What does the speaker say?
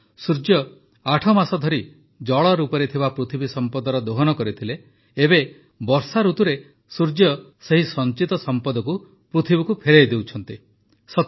ଅର୍ଥାତ୍ ସୂର୍ଯ୍ୟ ଆଠମାସ ଧରି ଜଳ ରୂପରେ ଥିବା ପୃଥିବୀ ସଂପଦର ଦୋହନ କରିଥିଲେ ଏବେ ବର୍ଷାଋତୁରେ ସୂର୍ଯ୍ୟ ସେହି ସଞ୍ଚିତ ସଂପଦକୁ ପୃଥିବୀକୁ ଫେରାଇ ଦେଉଛନ୍ତି